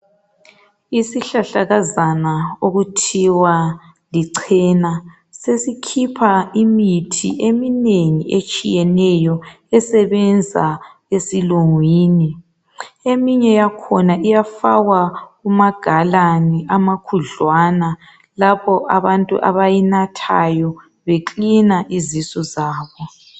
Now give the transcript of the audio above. Isihlahlakazana okuthiwa licena sesikhipha imithi eminengi etshiyeneyo esebenza esilungwini eminye yakhona iyafakwa kuma galani amakhudlwana lapho abantu abayinathayi be cleaner izisu zabo .